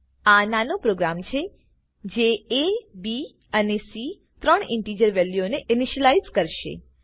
આ નાનો પ્રોગ્રામ છે જે એ બી અને સી ત્રણ ઇનટીજર વેલ્યુઓને ઇનશીલાઈઝ કરશે